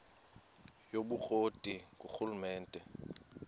yobukro ti ngurhulumente